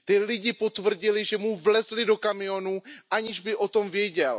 Ti lidé potvrdili, že mu vlezli do kamionu, aniž by o tom věděl.